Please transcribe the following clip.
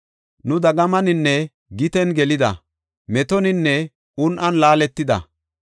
Nu dagamaninne giten gelida; metoninne un7an laaletida.